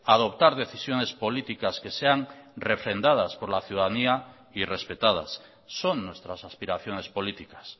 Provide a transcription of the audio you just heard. adoptar decisiones políticas que sean refrendadas por la ciudadanía y respetadas son nuestras aspiraciones políticas